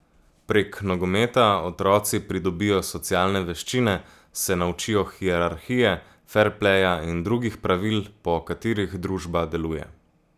Prek nogometa otroci pridobijo socialne veščine, se naučijo hierarhije, ferpleja in drugih pravil, po katerih družba deluje.